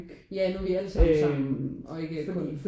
Ja nu vi alle sammen er sammen og ikke kun